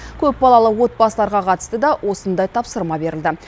көпбалалы отбасыларға қатысты да осындай тапсырма берілді